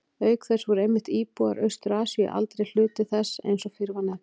Auk þess voru einmitt íbúar Austur-Asíu aldrei hluti þess eins og fyrr var nefnt.